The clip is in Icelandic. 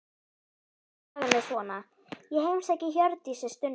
En sagan er svona: Ég heimsæki Hjördísi stundum.